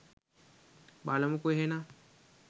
බලමුකෝ එහෙනම්